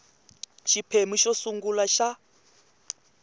ka xiphemu xo sungula xa